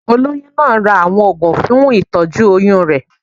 Olóyún náà ra àwọn oògùn fún ìtọ́jú oyún rẹ̀.